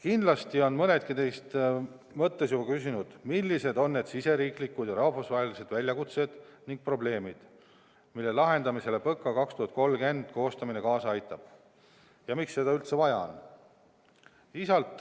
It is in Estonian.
Kindlasti on mõnedki teist mõttes juba küsinud, millised on need riigisisesed ja rahvusvahelised väljakutsed ning probleemid, mille lahendamisele PõKa 2030 koostamine kaasa aitab ja miks seda üldse vaja on.